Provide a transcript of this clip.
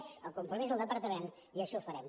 és el compromís del departament i així ho farem